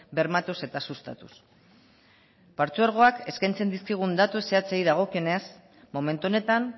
bermatuz eta sustatuz partzuergoak eskaintzen dizkigun datu zehatzei dagokienez momentu honetan